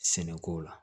Sɛnɛko la